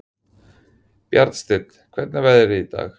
Bjarnsteinn, hvernig er veðrið í dag?